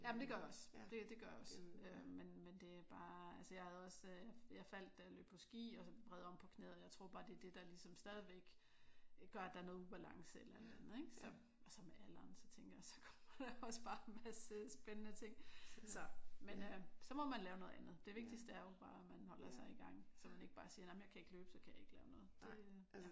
Jamen det gør jeg også. Det det gør jeg også øh men men det er bare altså jeg faldt da jeg løb på ski og så vred om på knæet og jeg tror bare det er det der ligesom stadigvæk gør at der er noget ubalance eller et eller andet. Og så med alderen så tænker jeg også så kommer der også bare en masse spændende ting. Så må man lave noget andet. Det vigtigste er jo bare at man holder sig i gang. Så man ikke siger nej men jeg kan ikke løbe så kan jeg ikke lave noget. Det